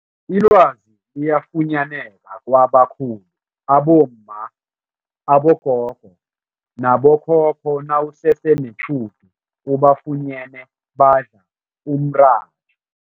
Ilwazi liyafunyaneka kwabakhulu abomma, abogogo nabo khokho nawusese netjhudu ubafunyene badla umratha.